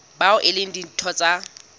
bao e leng ditho tsa